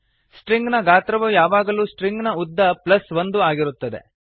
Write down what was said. string ನ ಗಾತ್ರವು ಯಾವಾಗಲೂ ಸ್ಟ್ರಿಂಗ್ ನ ಉದ್ದ ಪ್ಲಸ್ ಒಂದು ಆಗಿರುತ್ತದೆ